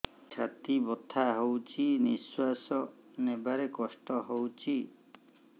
ଛାତି ବଥା ହଉଚି ନିଶ୍ୱାସ ନେବାରେ କଷ୍ଟ ହଉଚି